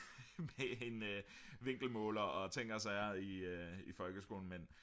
med en vinkelmåler og ting og sager i folkeskolen men